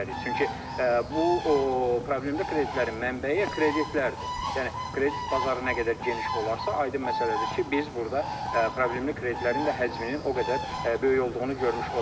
Çünki bu problemli kreditlərin mənbəyi kreditlərdir, yəni kredit bazarı nə qədər geniş olarsa, aydın məsələdir ki, biz burda problemli kreditlərin də həcminin o qədər böyük olduğunu görmüş olarıq.